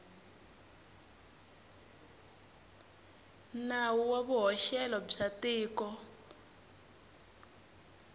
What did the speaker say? nawu wa vuhoxelo bya tiko